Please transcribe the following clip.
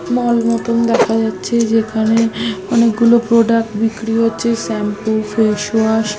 মল মত দেখা যাচ্ছে যেখানে অনেক গুলো প্রোডাক্ট বিক্রি হচ্ছে। Shampoo face wash --